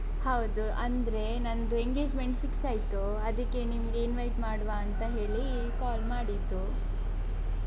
ಹೌದು ಅಂದ್ರೆ ನಂದು engagement fix ಆಯ್ತು ಅದಿಕ್ಕೆ ನಿಮ್ಗೆ invite ಮಾಡುವ ಅಂತ ಹೇಳಿ call ಮಾಡಿದ್ದು.